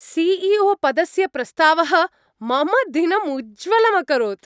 CEO. पदस्य प्रस्तावः मम दिनम् उज्ज्वलं अकरोत्।